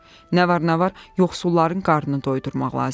Nə var nə var yoxsulların qarnını doyurmaq lazımdır.